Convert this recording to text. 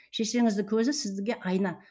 шешеңіздің көзі сізге айна